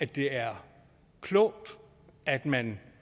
det er klogt at man